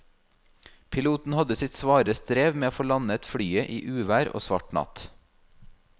Piloten hadde sitt svare strev med å få landet flyet i uvær og svart natt.